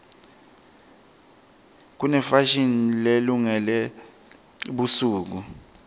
kunefashini lelungele busuku